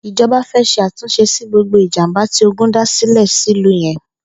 Ijọbà fè ṣé àtúnṣé si gbógbó ijàmbá ti ógùn dàsilẹ̀ silú yèn